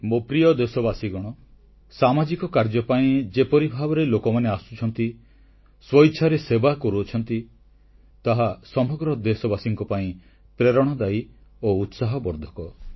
ମୋ ପ୍ରିୟ ଦେଶବାସୀଗଣ ସାମାଜିକ କାର୍ଯ୍ୟ ପାଇଁ ଯେପରି ଭାବରେ ଲୋକମାନେ ଆସୁଛନ୍ତି ସ୍ୱଇଚ୍ଛାରେ ସେବା କରୁଅଛନ୍ତି ତାହା ସମଗ୍ର ଦେଶବାସୀଙ୍କ ପାଇଁ ପ୍ରେରଣାଦାୟୀ ଓ ଉତ୍ସାହବର୍ଦ୍ଧକ